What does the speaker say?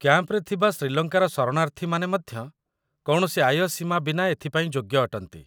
କ୍ୟାମ୍ପରେ ଥିବା ଶ୍ରୀଲଙ୍କାର ଶରଣାର୍ଥୀମାନେ ମଧ୍ୟ କୌଣସି ଆୟ ସୀମା ବିନା ଏଥିପାଇଁ ଯୋଗ୍ୟ ଅଟନ୍ତି